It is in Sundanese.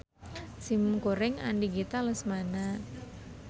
Simkuring Andi Gita Lesmana.